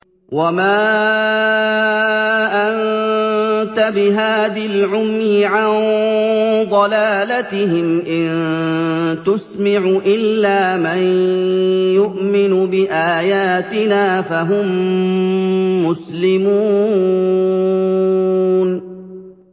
وَمَا أَنتَ بِهَادِ الْعُمْيِ عَن ضَلَالَتِهِمْ ۖ إِن تُسْمِعُ إِلَّا مَن يُؤْمِنُ بِآيَاتِنَا فَهُم مُّسْلِمُونَ